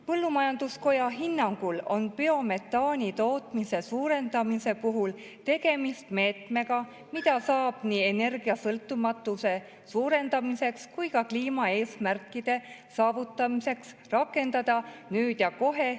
Põllumajanduskoja hinnangul on biometaani tootmise suurendamise puhul tegemist meetmega, mida saab nii energiasõltumatuse suurendamiseks kui ka kliimaeesmärkide saavutamiseks rakendada nüüd ja kohe.